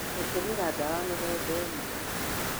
gũtũmĩra ndawa mĩthemba imwe